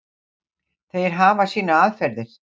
Þeir hafa sínar aðferðir.